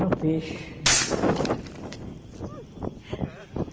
No peixe.